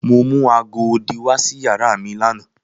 Mo mu aago odi wa si yara mi lana.